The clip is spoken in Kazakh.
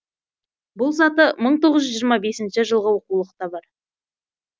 бұл саты мың тоғыз жүз жиырма бесінші жылғы оқулықта бар